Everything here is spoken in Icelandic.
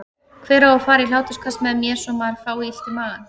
Hver á að fara í hláturskast með mér svo maður fái illt í magann?